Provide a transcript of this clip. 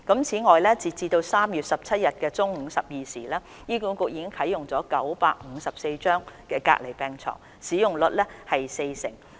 此外，截至3月17日中午12時，醫管局已啟用954張隔離病床，使用率約為四成。